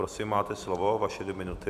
Prosím, máte slovo, vaše dvě minuty.